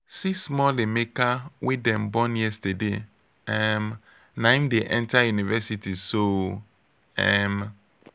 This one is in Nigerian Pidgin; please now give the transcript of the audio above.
see small emeka wey dem born yesterday um naim dey enta university so! um